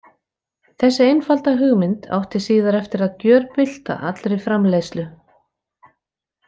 Þessi einfalda hugmynd átti síðar eftir að gjörbylta allri framleiðslu.